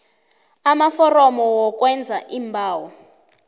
amaforomo wokwenza iimbawo